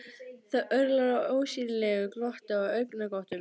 Það örlar á ósýnilegu glotti og augnagotum.